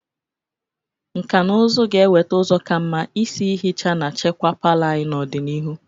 Nkà na ụzụ ga-eweta ụzọ ka mma isi ihicha na chekwaa palọ anyị n'ọdịnihu.